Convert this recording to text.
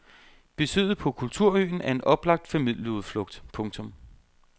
Besøget på kulturøen er en oplagt familieudflugt. punktum